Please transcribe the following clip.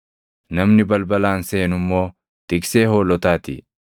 Namni balbalaan seenu immoo tiksee hoolotaa ti.